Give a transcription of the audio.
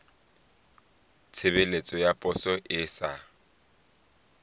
tshebeletso ya poso e sa